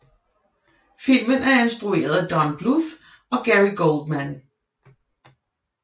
Filmen er instrueret af Don Bluth og Gary Goldman